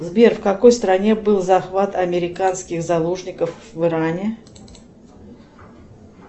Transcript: сбер в какой стране был захват американских заложников в иране